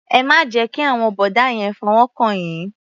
Ẹ má jẹ́ kí àwọn bọ̀dá yẹn fọwọ́ kàn yín.